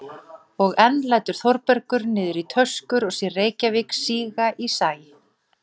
Þórbergur skuldar verkinu þessa ferð, án Öræfasveitar væri lýsing Austur-Skaftafellssýslu ekki nema hálf.